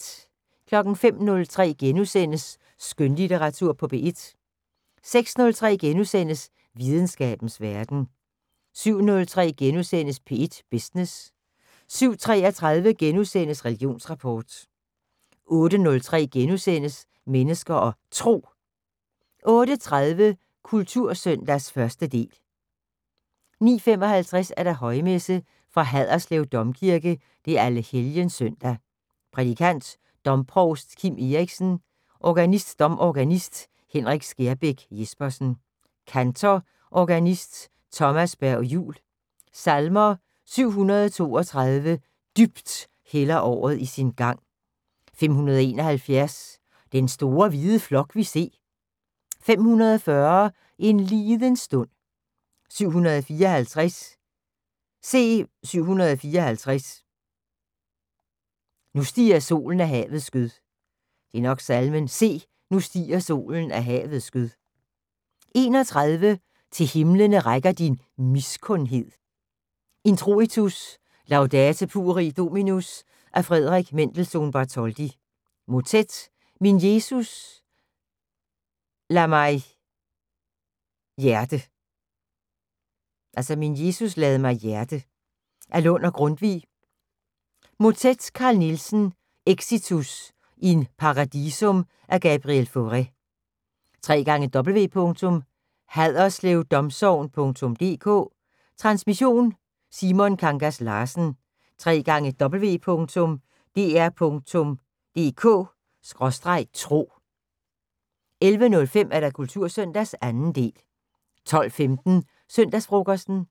05:03: Skønlitteratur på P1 * 06:03: Videnskabens Verden * 07:03: P1 Business * 07:33: Religionsrapport * 08:03: Mennesker og Tro * 08:30: Kultursøndag 1. del 09:55: Højmesse - Fra Haderslev Domkirke. Allehelgenssøndag. Prædikant: Domprovst Kim Eriksen. Organist: Domorganist Henrik Skærbæk Jespersen. Kantor: Organist Thomas Berg-Juul. Salmer: 732: "Dybt hælder året i sin gang". 571: " Den store hvide flok vi se". 540: " En liden stund". 754: " Se. 754: nu stiger solen af havets skød". 31: "Til himlene rækker din miskundhed". Introitus: "Laudate pueri Dominum" af F. Mendelssohn-Bartholdy. Motet: "Min Jesus lad mig hjerte" af Lund/Grundtvig. Motet: Carl Nielsen. Exitus: "In Paradisum" af Gabriel Fauré. www.haderslevdomsogn.dk. Transmission: Simon Kangas Larsen. www.dr.dk/tro. 11:05: Kultursøndag 2. del 12:15: Søndagsfrokosten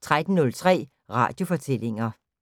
13:03: Radiofortællinger